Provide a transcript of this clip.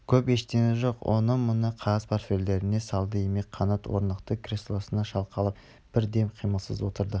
көп ештеңе жоқ оны-мұны қағаздарын портфеліне салды имек қанат орнықты креслосына шалқалап бір дем қимылсыз отырды